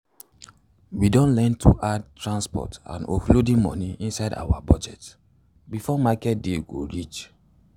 we don learn to add transport and offloading money inside our budget before market day go reach.